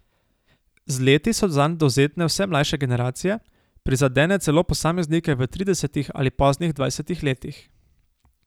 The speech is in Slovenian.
Z leti so zanj dovzetne vse mlajše generacije, prizadene celo posameznike v tridesetih ali poznih dvajsetih letih.